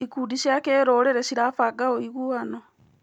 Ikundi cia kĩrũrĩrĩ cirabanga ũiguano.